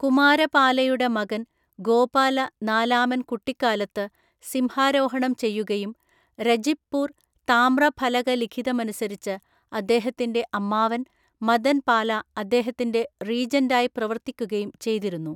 കുമാരപാലയുടെ മകൻ ഗോപാല നാലാമൻ കുട്ടിക്കാലത്ത് സിംഹാരോഹണം ചെയ്യുകയും, രജിബ്പൂർ താമ്രഫലകലിഖിതമനുസരിച്ച് അദ്ദേഹത്തിന്‍റെ അമ്മാവൻ മദൻപാല അദ്ദേഹത്തിന്‍റെ റീജൻ്റായി പ്രവർത്തിക്കുകയും ചെയ്തിരുന്നു.